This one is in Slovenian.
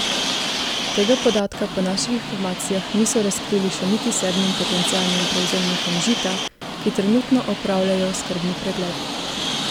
Tega podatka po naših informacijah niso razkrili še niti sedmim potencialnim prevzemnikom Žita, ki trenutno opravljajo skrbni pregled.